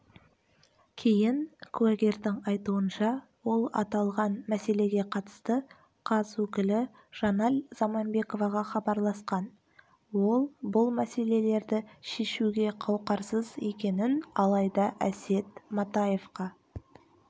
кейін куәгердің айтуынша ол аталған мәселеге қатысты қаз өкілі жанель заманбековаға хабарласқан ол бұл мәселелерді шешуге қауқарсыз екенін алайда әсет матаевқа